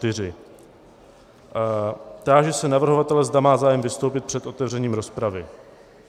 Táži se navrhovatele, zda má zájem vystoupit před otevřením rozpravy.